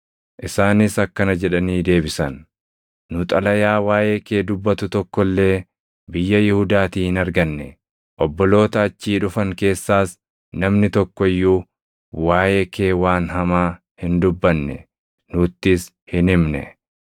Isaanis akkana jedhanii deebisan; “Nu xalayaa waaʼee kee dubbatu tokko illee biyya Yihuudaatii hin arganne; obboloota achii dhufan keessaas namni tokko iyyuu waaʼee kee waan hamaa hin dubbanne; nuttis hin himne.